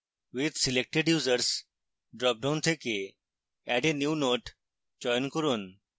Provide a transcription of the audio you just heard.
with selected users dropdown থেকে add a new note চয়ন করুন